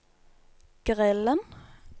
grillen